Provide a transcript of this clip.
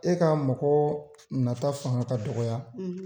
E ka mago nata fanga ka dɔgɔya.